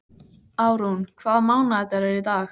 Árún, hvaða mánaðardagur er í dag?